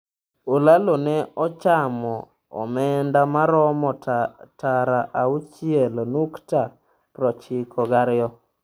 Olalo ne ochamo omenda maromo tara auchiel nukta prochiko gariyo.